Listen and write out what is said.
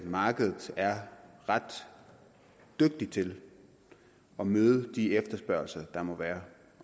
markedet er ret dygtigt til at møde de efterspørgsler der måtte være